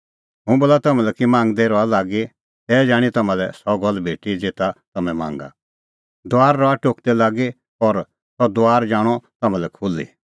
हुंह बोला तम्हां लै कि मांगदै रहा लागी तै जाणीं तम्हां सह गल्ल भेटी ज़ेता तम्हैं मांगा दुआरा रहा टोकदै लागी और सह दुआर जाणअ तम्हां लै खुल्ही